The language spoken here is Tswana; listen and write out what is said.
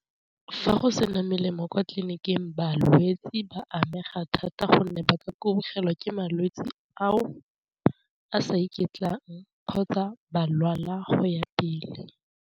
Fa go sena melemo kwa tleliniking balwetsi ba amega thata gonne ba kubugelwa ke malwetsi go ke malwetsi ao a sa ikutlwang kgotsa ba lwala go ya pele.